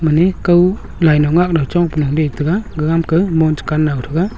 mane kaw laino ngakno chongpanu detega gagam ka mon chukan naw thega.